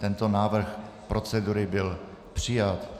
Tento návrh procedury byl přijat.